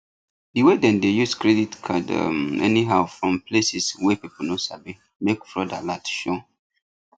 the way them dey use credit card um anyhow fron places wey people no sabi make fraud alert show